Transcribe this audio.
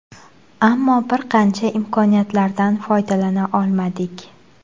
Ammo bir qancha imkoniyatlardan foydalana olmadik.